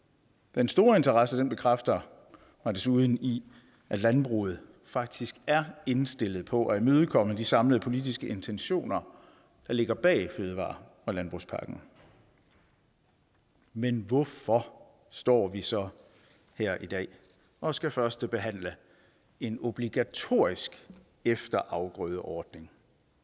den store interesse bekræfter mig desuden i at landbruget faktisk er indstillet på at imødekomme de samlede politiske intentioner der ligger bag fødevare og landbrugspakken men hvorfor står vi så her i dag og skal førstebehandle en obligatorisk efterafgrødeordning